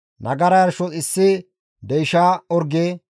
nagara yarshos issi deysha orge,